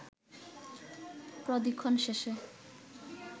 প্রদিক্ষণ শেষে